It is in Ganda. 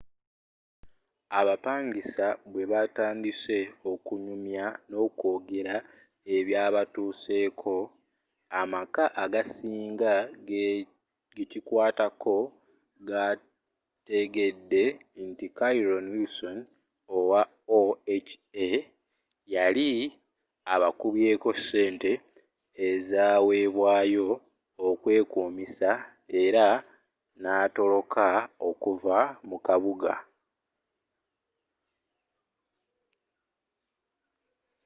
abapangisa bwebatandise okunyumya nokwogera ebyabatuuseko amaka agasinga gekikwatako gategedde nti carolyn wilsom owa oha yali ababyeko ssente ezawebwayo okwekuumisa era natoloka okuva mu kabuga